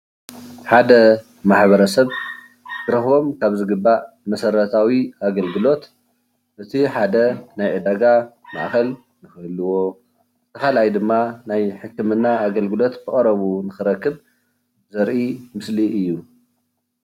ሓደ ማሕበረ ሰብ ክረክቦም ካብ ዝግባእ መሰረታዊ አገልግሎት እቲ ሓደ ናይ ዒዳጋ ማእኸል ንክህልዎ እቲ ካልኣይ ድማ ናይ ሕክምና ኣገልግሎት ብቀረብኡ ንክረክብ ዘርኢ ምስሊ እዩ፡፡